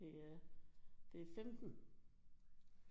Det øh det er 15